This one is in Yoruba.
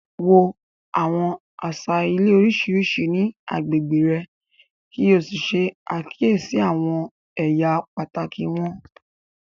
Wo àwọn àṣà ilé oríṣiríṣi ní agbègbè rẹ̀ kí o ṣe àkíyèsí àwọn ẹ̀yà pàtàkì wọn.